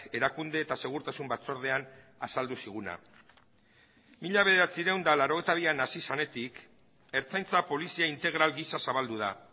erakunde eta segurtasun batzordean azaldu ziguna mila bederatziehun eta laurogeita bian hasi zenetik ertzaintza polizia integral gisa zabaldu da